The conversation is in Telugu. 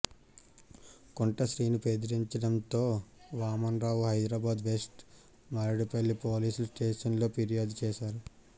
కుంట శ్రీను బెదిరించడంతో Vaman Rao Hyderabad west Maredpalli police station లో ఫిర్యాదు చేశారు